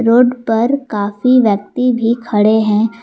Road पर काफी व्यक्ति भी खड़े है।